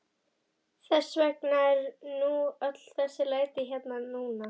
Þess vegna eru nú öll þessi læti hérna núna.